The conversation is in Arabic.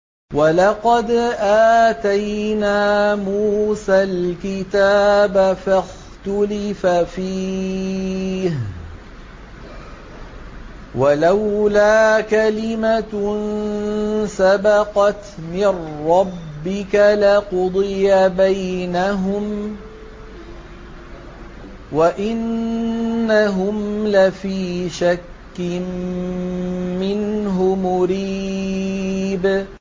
وَلَقَدْ آتَيْنَا مُوسَى الْكِتَابَ فَاخْتُلِفَ فِيهِ ۚ وَلَوْلَا كَلِمَةٌ سَبَقَتْ مِن رَّبِّكَ لَقُضِيَ بَيْنَهُمْ ۚ وَإِنَّهُمْ لَفِي شَكٍّ مِّنْهُ مُرِيبٍ